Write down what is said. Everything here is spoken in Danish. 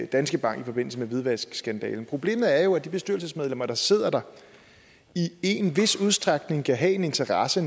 danske bank i forbindelse med hvidvaskskandalen problemet er jo at de bestyrelsesmedlemmer der sidder der i en vis udstrækning kan have en interesse